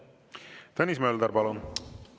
Tõnis Mölder, palun!